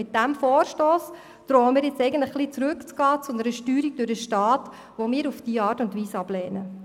Mit diesem Vorstoss drohen wir ein wenig zu einer Steuerung durch den Staat zurückzugehen, die wir in dieser Form ablehnen.